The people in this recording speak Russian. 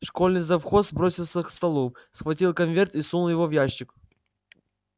школьный завхоз бросился к столу схватил конверт и сунул его в ящик